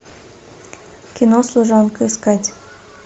кино служанка искать